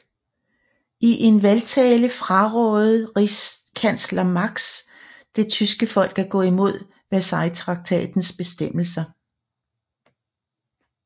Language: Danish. I en valgtale frarådede rigskansler Marx det tyske folk at gå imod Versaillestraktatens bestemmelser